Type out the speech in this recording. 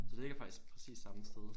Så det ligger faktisk præcis samme sted